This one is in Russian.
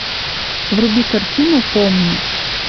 вруби картину помни